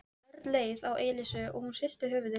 Örn leit á Elísu og hún hristi höfuðið.